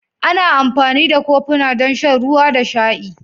Ana amfani da kofuna don shan ruwa da sha'i.